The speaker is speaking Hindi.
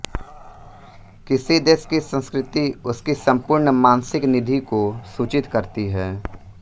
किसी देश की संस्कृति उसकी सम्पूर्ण मानसिक निधि को सूचित करती है